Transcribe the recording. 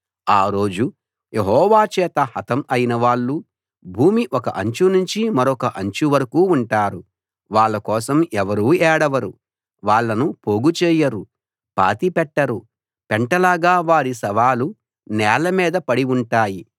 ఆ రోజు యెహోవా చేత హతం అయిన వాళ్ళు భూమి ఒక అంచు నుంచి మరొక అంచు వరకూ ఉంటారు వాళ్ళ కోసం ఎవరూ ఏడవరు వాళ్ళను పోగుచేయరు పాతిపెట్టరు పెంటలాగా వారి శవాలు నేల మీద పడి ఉంటాయి